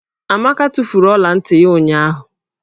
Amaka tufuru ọla ntị ya ụnyụahụ.